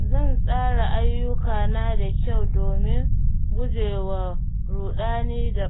Zan tsara ayyukana da kyau domin gujewa ruɗani da